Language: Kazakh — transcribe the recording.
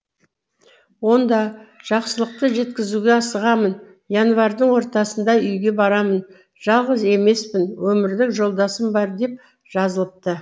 онда жақсылықты жеткізуге асығамын январьдың ортасында үйге барамын жалғыз емеспін өмірлік жолдасым бар деп жазылыпты